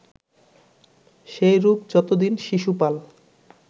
সেইরূপ যত দিন শিশুপাল